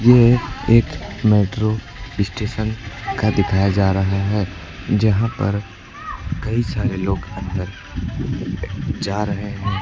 यह एक metro station का दिखाया जा रहा है जहां पर कई सारे लोग अंदर जा रहे हैं।